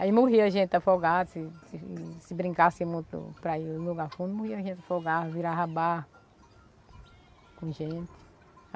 Aí morria gente afogada, se se se brincasse para ir no lugar fundo, morria gente afogada, virava barco com gente.